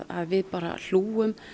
við hlúum